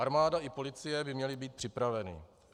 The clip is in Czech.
Armáda i policie by měly být připraveny.